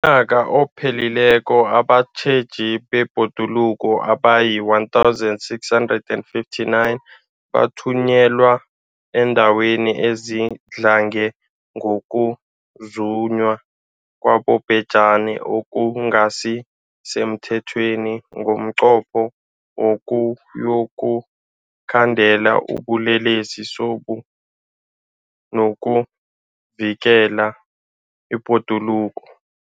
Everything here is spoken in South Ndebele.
UmNnyaka ophelileko abatjheji bebhoduluko abayi-1 659 bathunyelwa eendaweni ezidlange ngokuzunywa kwabobhejani okungasi semthethweni ngomnqopho wokuyokukhandela ubulele sobu nokuvikela ibhoduluko.